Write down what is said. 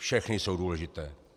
Všechny jsou důležité.